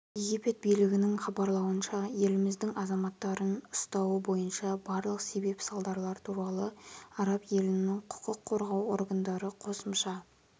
египет билігінің хабарлауынша еліміздің азаматтарын ұстауы бойынша барлық себеп-салдарлар туралы араб елінің құқық қорғау органдары қосымша